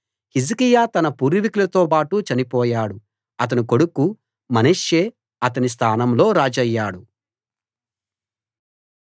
హిజ్కియా తన పూర్వీకులతోబాటు చనిపోయాడు అతని కొడుకు మనష్షే అతని స్థానంలో రాజయ్యాడు